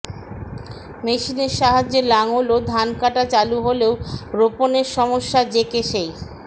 মেশিনের সাহায্যে লাঙল ও ধান কাটা চালু হলেও রোপণের সমস্যা যে কে সেই